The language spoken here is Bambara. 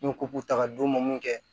N'u ko k'u ta ka d'u ma mun kɛ